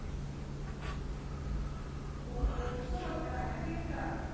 ও course ও করতে হয় নাকি একটা?